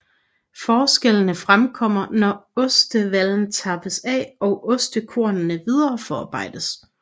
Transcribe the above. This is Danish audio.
Forskellene fremkommer når ostevallen tappes af og ostekornene videreforarbejdes